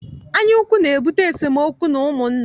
Anyaukwu na-ebute esemookwu n'ụmụnna.